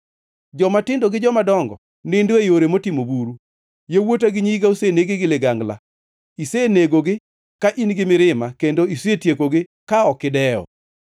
Jomatindo gi jomadongo nindo e yore motimo buru; yawuota gi nyiga oseneg gi ligangla. Isenegogi ka in gi mirima kendo isetiekogi ka ok idewo.